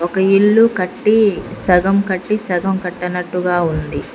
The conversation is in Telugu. ఈ ఇల్లు కట్టీ సగం కట్టి సగం కట్ట నట్టుగా ఉంది.